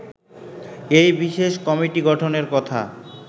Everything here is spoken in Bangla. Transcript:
এই বিশেষ কমিটি গঠনের কথা